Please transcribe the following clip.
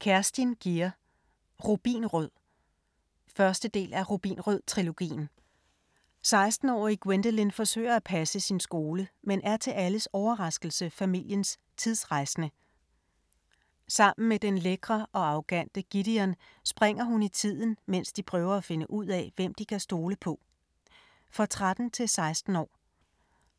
Gier, Kerstin: Rubinrød 1. del af Rubinrød-trilogien. 16-årige Gwendolyn forsøger at passe sin skole, men er til alles overraskelse familiens tidsrejsende. Sammen med den lækre og arrogante Gideon, springer hun i tiden mens de prøver at finde ud af, hvem de kan stole på. For 13-16 år.